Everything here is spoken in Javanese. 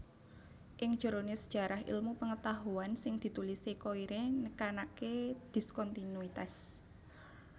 Ing jerone Sejarah Ilmu Pengetahuan sing ditulise Koyré nekanake diskontinuitas